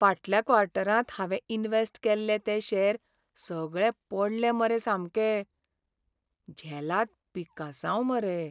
फाटल्या क्वॉर्टरांत हांवें इन्वॅस्ट केल्ले ते शॅर सगळे पडले मरे सामके. झेलाद पिकासांव मरे.